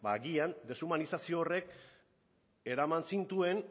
ba agian deshumanizazio horrek eraman zintuen